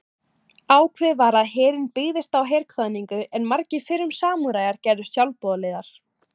Ákveðið var að herinn byggðist á herkvaðningu en margir fyrrum samúræjar gerðust sjálfboðaliðar.